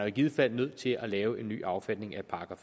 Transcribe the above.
i givet fald nødt til at lave en ny affatning af §